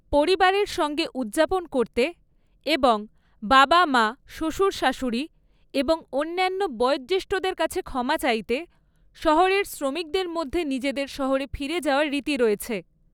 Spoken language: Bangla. পরিবারের সঙ্গে উদযাপন করতে এবং বাবা মা, শ্বশুর শাশুড়ি এবং অন্যান্য বয়োজ্যেষ্ঠ্যদের কাছে ক্ষমা চাইতে শহরের শ্রমিকদের মধ্যে নিজেদের শহরে ফিরে যাওয়ার রীতি রয়েছে।